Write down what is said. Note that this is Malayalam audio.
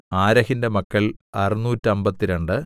ആരഹിന്റെ മക്കൾ അറുനൂറ്റമ്പത്തിരണ്ട്